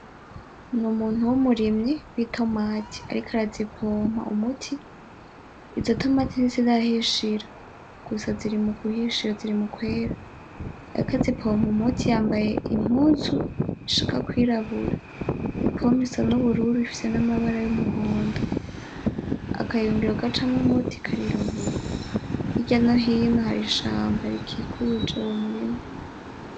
Ni umuntu w'umurimyi w'itomati ariko arazipompa umuti, izo tomati ntizirahishira gusa ziri muguhishira ziri mukwera. Ariko azipompa umuti yambaye impunzu ishaka kw'irabura, ipompe isa n'ubururu ifise n'amabara y'umuhondo, akayunguriro gacamwo umuti karirabura hirya no hino hari ishamba rikikuje uwo murima.